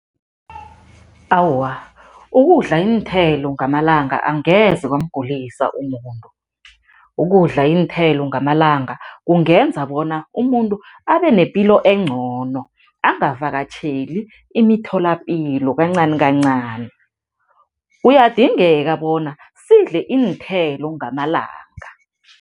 Awa, ukudla iinthelo ngamalanga angeze kwamgulisa umuntu. Ukudla iinthelo ngamalanga kungenza bona umuntu abe nepilo engcono, akavakatjheli imitholapilo kancanikancani. Kuyadingeka bona sidle iinthelo ngamalanga.